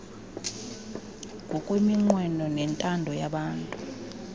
ngokweminqweno nentando yabatu